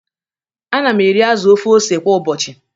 Ana m eri azụ ofe ose kwa ụbọchị